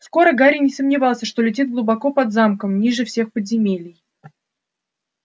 скоро гарри не сомневался что летит глубоко под замком ниже всех подземелий